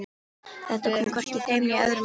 Þetta kom hvorki þeim né öðrum á óvart.